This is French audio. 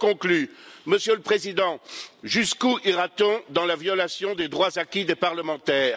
ans. Je conclus, Monsieur le Président. Jusqu'où ira t on dans la violation des droits acquis des parlementaires?